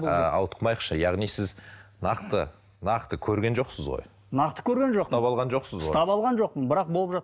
ы ауытқымайықшы яғни сіз нақты нақты көрген жоқсыз ғой нақты көрген жоқпын ұстап алған жоқсыз ғой ұстап алған жоқпын бірақ болып